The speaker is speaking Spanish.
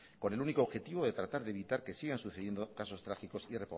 con el único objetivo de tratar de evitar que sigan sucediendo casos trágicos y